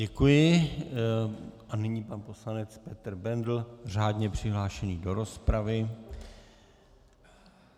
Děkuji a nyní pan poslanec Petr Bendl, řádně přihlášený do rozpravy.